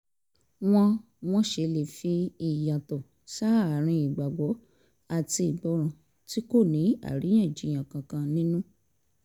wọ́n wọ́n ṣe lè fi ìyàtọ̀ sáàárín ìgbàgbọ́ àti ìgbọràn tí kò ní àríyànjiyàn kankan nínú